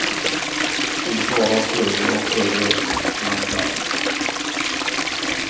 Vi tar oss högre och högre upp bland bergen.